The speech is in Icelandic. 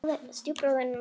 Ég er ansi liðug!